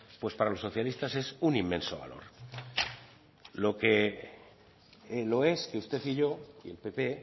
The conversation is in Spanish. pues para los socialistas es un inmenso valor lo que lo es que usted y yo y el pp